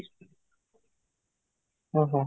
ହଁ